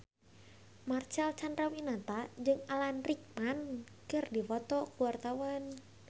Marcel Chandrawinata jeung Alan Rickman keur dipoto ku wartawan